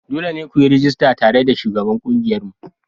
Dole ne ku yi rajista tare da shugaban ƙungiyarmu.